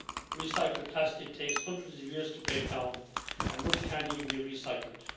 Unrecycled plastic takes hundreds of years to break down and much can't even be recycled.